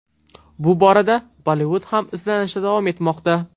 Bu borada Bollivud ham izlanishda davom etmoqda.